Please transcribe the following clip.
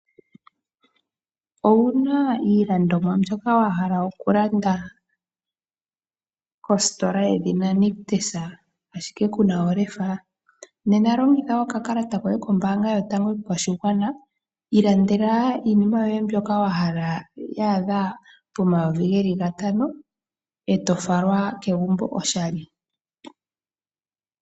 Owuna iilandomwa mbyoka wa hala oku landa, kositola yedhina Nictus ashike kuna olefa? Nena longitha oka kalata koye kombaanga yotango yopashigwana. Ilandela iinima yoye mbyoka wa hala, ya adha pomayovi ge li gatano, eto falwa kegumbo oshali.